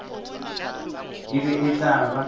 e be e tla ba